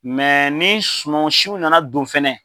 Mɛ ni sumansiw nana don fɛnɛ